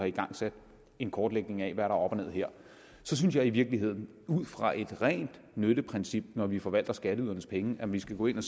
igangsat en kortlægning af hvad op og ned her så synes jeg i virkeligheden ud fra et rent nytteprincip når vi forvalter skatteydernes penge at vi skal gå ind